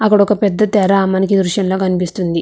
అక్కడొక పెద్ద తేరా మనకీ దృశ్యం లో కనిపిస్తుంది.